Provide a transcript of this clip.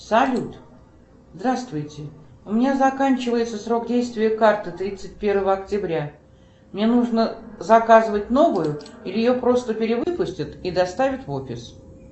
салют здравствуйте у меня заканчивается срок действия карты тридцать первого октября мне нужно заказывать новую или ее просто перевыпустят и доставят в офис